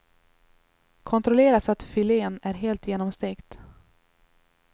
Kontrollera så att filén är helt genomstekt.